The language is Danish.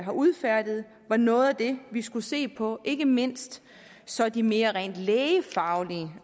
har udfærdiget var noget af det vi skulle se på ikke mindst så de mere rent lægefaglige